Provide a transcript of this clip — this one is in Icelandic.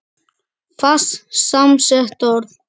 Fast samsett orð